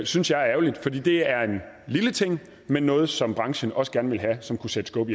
synes jeg er ærgerligt for det er en lille ting men noget som branchen også gerne vil have og som kunne sætte skub